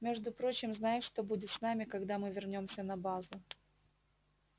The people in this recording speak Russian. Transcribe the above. между прочим знаешь что будет с нами когда мы вернёмся на базу